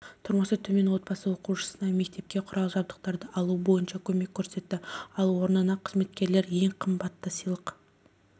тұрмысы төмен отбасы оқушысына мектепке құрал-жабдықтарды алу бойынша көмек көрсетті ал орнына қызметкерлер ең қымбатты сыйлық